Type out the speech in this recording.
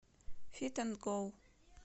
фит эн гоу